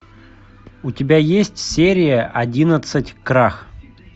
у тебя есть серия одиннадцать крах